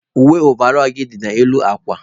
Uwe ọvarol gị dị n'elu akwa.